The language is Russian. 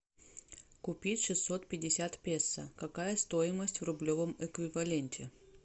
купить шестьсот пятьдесят песо какая стоимость в рублевом эквиваленте